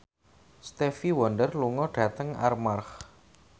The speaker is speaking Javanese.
Stevie Wonder lunga dhateng Armargh